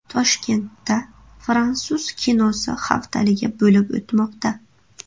Toshkentda fransuz kinosi haftaligi bo‘lib o‘tmoqda.